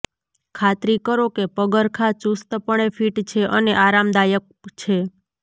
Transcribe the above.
ખાતરી કરો કે પગરખાં ચુસ્તપણે ફિટ છે અને આરામદાયક છે